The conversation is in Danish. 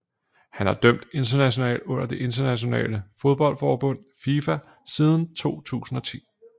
Han har dømt internationalt under det internationale fodboldforbund FIFA siden 2010